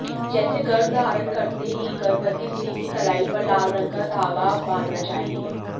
जैसे गर्भधारण करते ही गर्भवती स्त्री की कलाई पर लाल रंग का धागा बांधना चाहिए